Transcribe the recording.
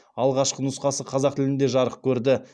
алғашқы нұсқасы қазақ тілінде жарық көрді